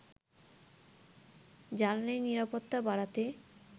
জ্বালানি নিরাপত্তা বাড়াতে